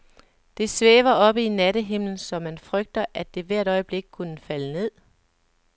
Det svæver oppe i nattehimlen, så man frygter, at det hvert øjeblik kunne falde ned.